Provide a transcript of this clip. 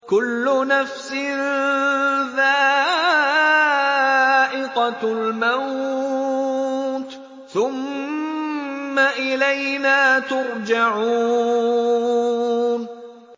كُلُّ نَفْسٍ ذَائِقَةُ الْمَوْتِ ۖ ثُمَّ إِلَيْنَا تُرْجَعُونَ